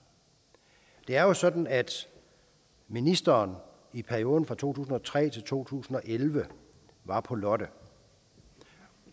det er jo sådan at ministeren i perioden fra to tusind og tre til to tusind og elleve var på lotte